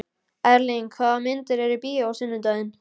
Erling, hvaða myndir eru í bíó á sunnudaginn?